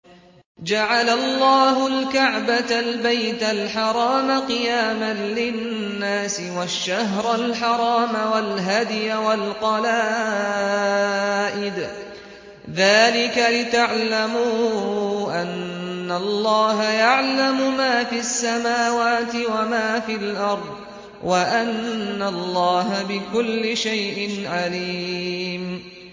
۞ جَعَلَ اللَّهُ الْكَعْبَةَ الْبَيْتَ الْحَرَامَ قِيَامًا لِّلنَّاسِ وَالشَّهْرَ الْحَرَامَ وَالْهَدْيَ وَالْقَلَائِدَ ۚ ذَٰلِكَ لِتَعْلَمُوا أَنَّ اللَّهَ يَعْلَمُ مَا فِي السَّمَاوَاتِ وَمَا فِي الْأَرْضِ وَأَنَّ اللَّهَ بِكُلِّ شَيْءٍ عَلِيمٌ